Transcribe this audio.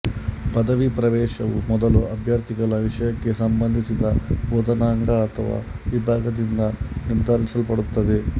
ಪದವಿ ಪ್ರವೇಶವು ಮೊದಲು ಅಭ್ಯರ್ಥಿಗಳ ವಿಷಯಕ್ಕೆ ಸಂಬಂಧಿಸಿದ ಬೋಧನಾಂಗ ಅಥವಾ ವಿಭಾಗದಿಂದ ನಿರ್ಧರಿಸಲ್ಪಡುತ್ತದೆ